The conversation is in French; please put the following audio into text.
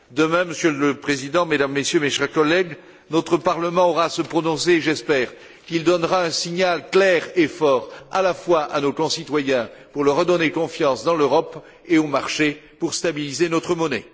Demain, Monsieur le Président, Mesdames et Messieurs, mes chers collègues, notre Parlement aura à se prononcer et j'espère qu'il donnera un signal clair et fort, à la fois à nos concitoyens pour leur redonner confiance dans l'Europe et au marché pour stabiliser notre monnaie.